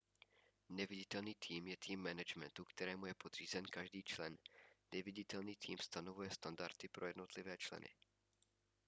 neviditelný tým je tým managementu kterému je podřízen každý člen neviditelný tým stanovuje standardy pro jednotlivé členy